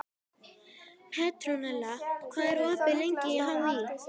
Petronella, hvað er opið lengi í HÍ?